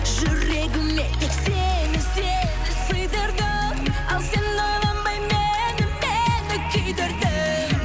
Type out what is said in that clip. жүрегіме тек сені сені сыйдырдым ал сен ойланбай мені мені күйдірдің